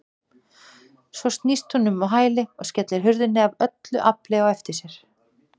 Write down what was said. Svo snýst hún á hæli og skellir hurðinni af öllu afli á eftir sér.